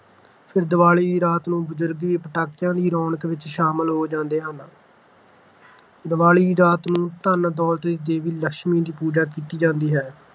ਫਿਰ ਦੀਵਾਲੀ ਦੀ ਰਾਤ ਨੂੰ ਬਜ਼ੁਰਗ ਵੀ ਪਟਾਕਿਆਂ ਦੀ ਰੌਣਕ ਵਿੱਚ ਸ਼ਾਮਲ ਹੋ ਜਾਂਦੇ ਹਨ ਦੀਵਾਲੀ ਦੀ ਰਾਤ ਨੂੰ ਧਨ-ਦੌਲਤ ਦੀ ਦੇਵੀ ਲਕਸ਼ਮੀ ਦੀ ਪੂਜਾ ਕੀਤੀ ਜਾਂਦੀ ਹੈ।